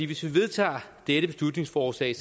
hvis vi vedtager dette beslutningsforslag